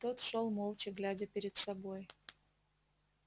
тот шёл молча глядя перед собой